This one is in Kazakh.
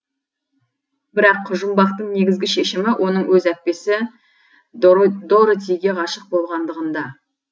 бірақ жұмбақтың негізгі шешімі оның өз әпкесі доротиге ғашық болғандығында